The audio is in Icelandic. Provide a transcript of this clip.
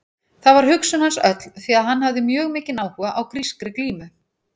Þar var hugsun hans öll því að hann hafði mjög mikinn áhuga á grískri glímu.